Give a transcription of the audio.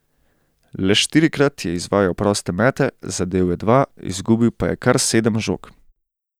Le štirikrat je izvajal proste mete, zadel je dva, izgubil pa je kar sedem žog.